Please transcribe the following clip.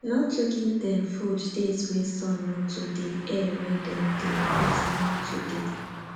no too give them food days wey sun no too deyair wey them dey fit no too dey